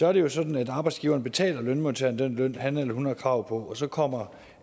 er det jo sådan at arbejdsgiveren betaler lønmodtageren den løn han eller hun har krav på og så kommer